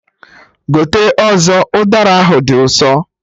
Gote ọzọ! Udara ahụ dị ụsọ!